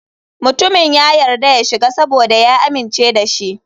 Mutumin ya yarda ya shiga saboda ya amince da shi.